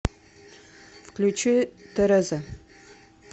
включи тереза